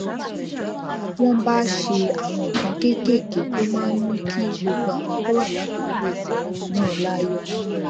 wón bá ṣe àwọn nǹkan kéékèèké tó máa ń mú kí gbogbo àwọn tó wà ládùúgbò náà láyò